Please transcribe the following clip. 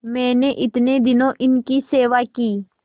मैंने इतने दिनों इनकी सेवा की